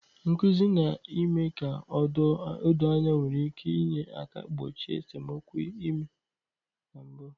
Nkuzi na ime ka o doo anya nwere ike inye aka gbochie esemokwu ime na mbu